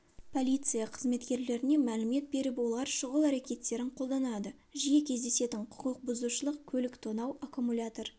полиция қызметкерлеріне мәлімет беріп олар шұғыл әрекеттерін қолданады жиі кездесетін құқық бұзушылық көлік тонау аккумулятор